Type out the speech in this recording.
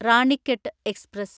Ranikhet express